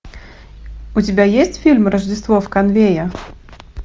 у тебя есть фильм рождество в конвее